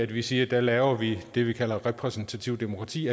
vi siger at der laver vi det vi kalder repræsentativt demokrati